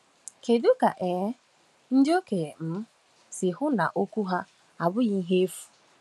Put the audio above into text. Kedu ka um ndị okenye um si hụ na okwu ha abụghị ihe efu?